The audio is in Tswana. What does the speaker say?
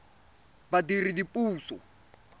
badiredipuso